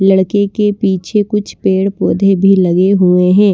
लड़के के पीछे कुछ पेड़-पौधे भी लगे हुए हैं।